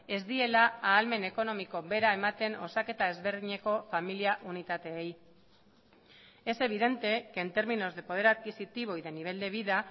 ez diela ahalmen ekonomiko bera ematen osaketa ezberdineko familia unitateei es evidente que en términos de poder adquisitivo y de nivel de vida